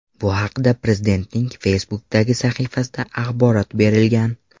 Bu haqda Prezidentning Facebook’dagi sahifasida axborot berilgan .